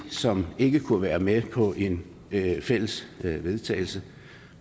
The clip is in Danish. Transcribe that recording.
som ikke kunne være med på en fælles vedtagelse